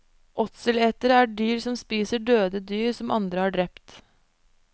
Åtseletere er dyr som spiser døde dyr som andre har drept.